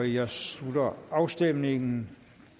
jeg slutter afstemningen